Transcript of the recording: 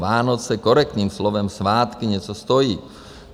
Vánoce korektním slovem svátky něco stojí.